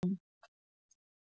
Gestur, hvernig er dagskráin í dag?